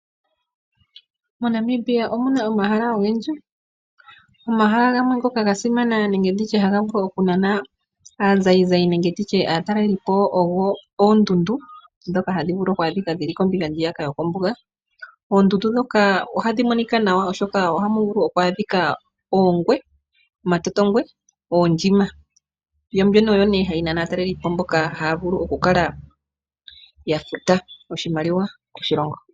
MoNamibia omuna omahala ogendji ngoka gasimana no havulu okunana aazayizayi nenge nditye aatalelipo go ondundu dhoka hadhivulu oku adhika kombinga ndjiyaka yokombuga. Oondundu ndhoka hadhi monika nawa oshoka oha muvulu okwa dhiika ondjima noshowo omatotongwe yombino oyone hai nana aatalelipo havulu oku kala yafuta oshimaliwa moshilongo